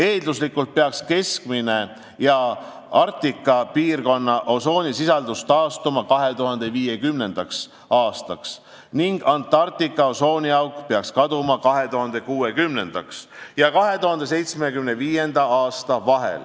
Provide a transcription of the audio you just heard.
Eelduslikult peaks keskmine ja Arktika piirkonna osoonisisaldus taastuma 2050. aastaks ning Antarktika osooniauk peaks kaduma 2060. ja 2075. aasta vahel.